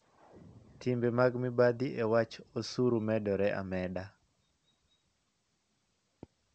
Timbe mag mibadhi e wach osuru medore ameda.